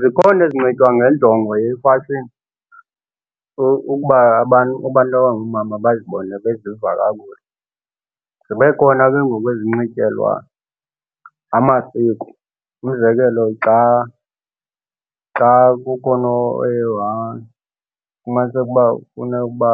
Zikhona ezinxitywa ngenjongo yefashini ukuba abantu abangoomama bazibone beziva kakuhle. Zibe khona ke ngoku ezinxiyelwa amasiko. Umzekelo, xa xa kukhona oye wafumaniseka uba funeke ukuba